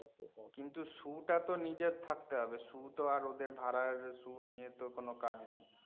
কিন্তু shoe টা তো নিজের থাকতে হবে, shoe টা তো আর ওদের ভাড়া shoe নিয়ে তো কোনও কাজ নেই।